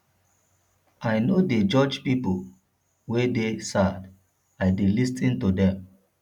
i no dey judge pipo wey dey sad i dey lis ten to dem